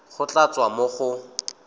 go tla tswa mo go